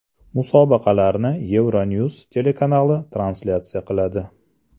Musobaqalarni Euronews telekanali translyatsiya qiladi.